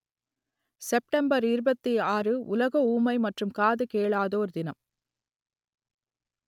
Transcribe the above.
September இருபத்தி ஆறு உலக ஊமை மற்றும் காது கேளாதோர் தினம்